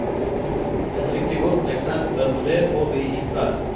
Et riktig godt eksempel på det får vi i kveld.